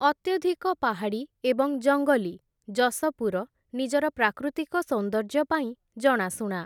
ଅତ୍ୟଧିକ ପାହାଡ଼ୀ ଏବଂ ଜଙ୍ଗଲୀ, ଜଶପୁର ନିଜର ପ୍ରାକୃତିକ ସୌନ୍ଦର୍ଯ୍ୟ ପାଇଁ ଜଣାଶୁଣା ।